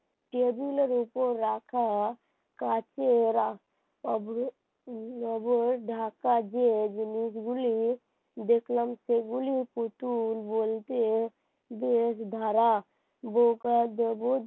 টেবিলের উপর রাখা কাচের অভ্র ঢাকা যে জিনিসগুলি দেখলাম সেগুলি পুতুল বলতে বেশধারা বউ করার জগৎ